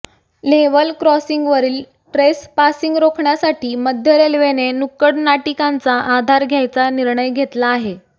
level क्रॉसिंगवरील trespassing रोखण्यासाठी मध्य रेल्वेने नुक्कड नाटिकांचा आधार घ्यायचा निर्णय घेतला आहे